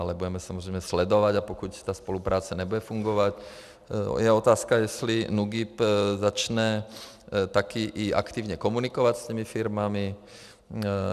Ale budeme samozřejmě sledovat, a pokud ta spolupráce nebude fungovat... je otázka, jestli NÚKIB začne také i aktivně komunikovat s těmi firmami.